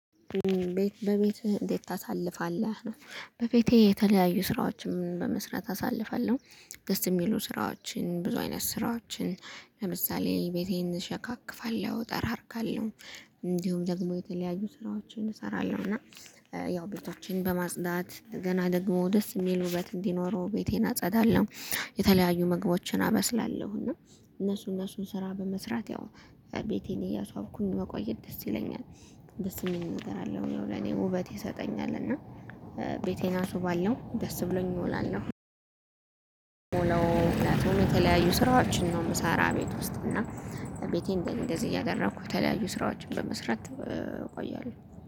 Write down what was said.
ቤት በቤትህ እንዴት ታሳልፋለህ ነው? በቤቴ የተለያዩ ስራዎችም በመስራት አሳልፋለሁ። ደስ የሚሉ ስራዎችን ብዙ አይነት ስራዎችን ለምሳሌ ቤቴን እሸካክፋለሁ እጠራርጋለሁ። እንዲሁም ደግሞ የተለያዩ ስራዎችን እሰራለሁ እና ያው ቤቶችን በማጽዳት ገና ደግሞ ደስ የሚል ውበት እንዲኖረው ቤቴን አጸዳለሁ። የተለያዩ ምግቦችን አበስላለሁ እና እነሱ እነሱን ስራ በመስራት ያው ቤቴን እያሷብኩኝ መቆየት ደስ ይለኛል። ደስ የሚል ነገር አለው ያው ለኔ ውበት ይሰጠኛል እና። ቤቴን ሱአስውባለሁ ደስ ብሎኝ እውላለሁ። ነው ምክንያቱም የተለያዩ ስራዎችን ነው የምሰራ ቤት ውስጥ እና። ቤቴን እንደዚህ እያደረኩ የተለያዩ ስራዎችን በመስራት እቆያሉ